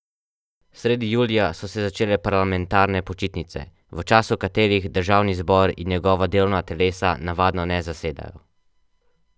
Sredi julija so se začele parlamentarne počitnice, v času katerih državni zbor in njegova delovna telesa navadno ne zasedajo.